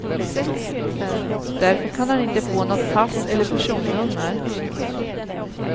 Därför kan han inte få något pass eller personnummer.